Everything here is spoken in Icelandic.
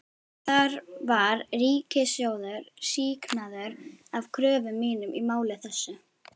Þar var ríkissjóður sýknaður af kröfum mínum í máli þessu.